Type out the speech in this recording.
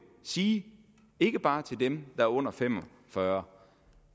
sige ikke bare til dem der er under fem og fyrre